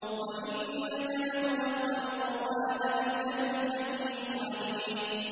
وَإِنَّكَ لَتُلَقَّى الْقُرْآنَ مِن لَّدُنْ حَكِيمٍ عَلِيمٍ